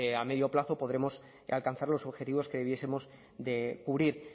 a medio plazo podremos alcanzar los objetivos que hubiesemos de cubrir